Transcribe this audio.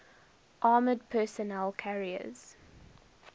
armored personnel carriers